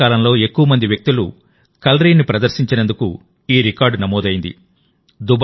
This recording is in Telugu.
ఏకకాలంలో ఎక్కువ మంది వ్యక్తులు కలరిని ప్రదర్శించినందుకు ఈ రికార్డు నమోదైంది